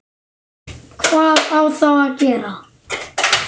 Hvað á þá að gera?